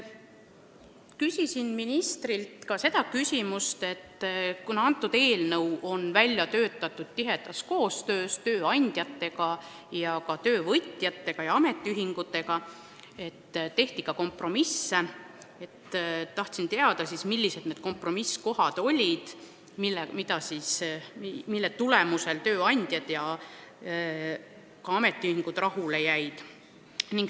Küsisin ministrilt ka seda, et kuna eelnõu on välja töötatud tihedas koostöös tööandjate, töövõtjate ja ametiühingutega ning tehti kompromisse, siis millised olid need kompromissikohad, mille tulemusel tööandjad ja ametiühingud eelnõuga rahule jäid.